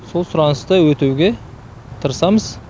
сол сұранысты өтеуге тырысамыз